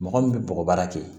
Mɔgɔ min bɛ bɔgɔbaara kɛ